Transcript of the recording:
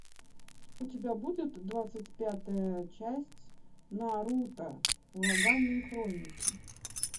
у тебя будет двадцать пятая часть наруто ураганные хроники